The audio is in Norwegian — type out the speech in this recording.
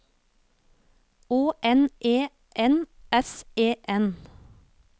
Å N E N S E N